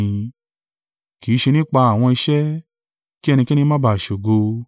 kì í ṣe nípa àwọn iṣẹ́, kí ẹnikẹ́ni má ba à ṣògo.